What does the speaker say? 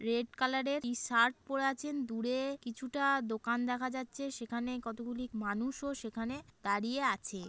Red colour এর একটি শার্ট পড়ে আছেন দূরেএ কিছুটা দোকান দেখা যাচ্ছে সেখানে কতকগুলি মানুষও সেখানে দাঁড়িয়ে আছে।